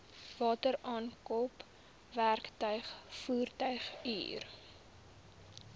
wateraankope werktuig voertuighuur